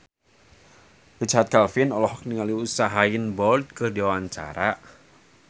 Richard Kevin olohok ningali Usain Bolt keur diwawancara